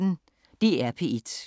DR P1